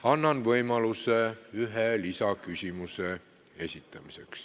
Annan võimaluse ühe lisaküsimuse esitamiseks.